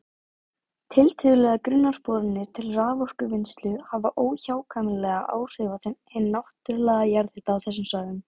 Tiltölulega grunnar boranir til raforkuvinnslu hafa óhjákvæmilega áhrif á hinn náttúrlega jarðhita á þessum svæðum.